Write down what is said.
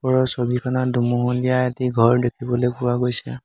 ওপৰৰ ছবিখনত দুমহলীয়া এটি ঘৰ দেখিবলৈ পোৱা গৈছে।